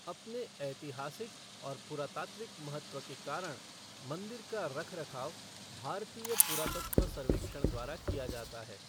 अपने ऐतिहासिक और पुरातात्विक महत्व के कारण, मंदिर का रखरखाव भारतीय पुरातत्व सर्वेक्षण द्वारा किया जाता है।